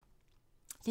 DR1